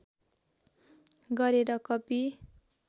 गरेर कपी